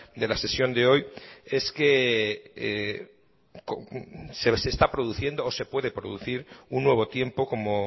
de la sesión de hoy es que se está produciendo o se puede producir un nuevo tiempo como